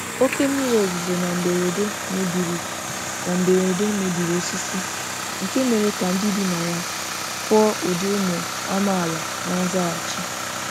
Oke mmiri ozuzo na mberede mebiri na mberede mebiri osisi, nke mere ka ndị bi na ya kụọ ụdị ụmụ amaala na nzaghachi.